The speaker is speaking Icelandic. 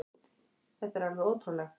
Þetta er alveg ótrúlegt.